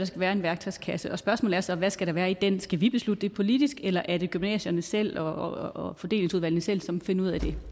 skal være en værktøjskasse og spørgsmålet er så hvad skal der være i den skal vi beslutte det politisk eller er det gymnasierne selv og fordelingsudvalgene selv som finder ud af det